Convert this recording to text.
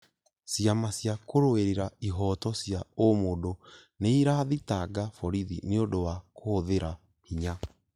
Ciama cia kũrũĩrĩra ihooto cia ũmũndũ nĩirathitanga borithi nĩũndũ wa kũhũthĩra hinya